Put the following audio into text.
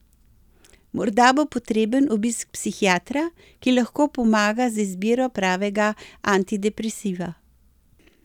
Morda bo potreben obisk psihiatra, ki lahko pomaga z izbiro pravega antidepresiva.